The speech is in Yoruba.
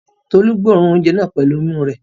Tolú gbóòórùn oúnjẹ náà pẹ̀lú imú rẹ̀?